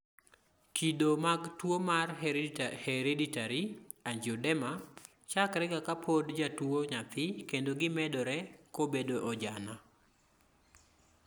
kido mag tuwo mar hereditary angioedema chakrega kapod jatuwo nyathii kendo gimedore kobedo ojana